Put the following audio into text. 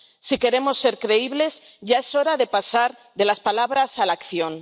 Si queremos ser creíbles, ya es hora de pasar de las palabras a la acción.